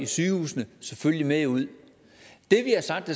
sygehusene selvfølgelig med ud det vi har sagt